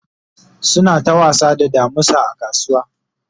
suna ta wasa da damusa a kasuwa